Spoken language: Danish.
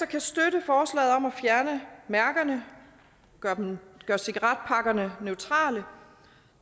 kan støtte forslaget om at fjerne mærkerne gøre cigaretpakkerne neutrale